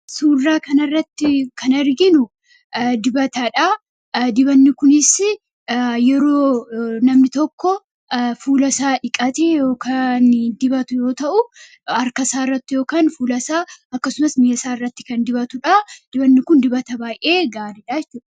Suuraa kana irratti kan arginu dibatadha. Dibanni kunis namni tokko erga fuula isaa dhiqatee dibatu yoo ta'u, harka isaatti, fuula isaatti yookiin miila isaatti kan dibatudha. Dibanni kun dibata baay'ee gaariidha.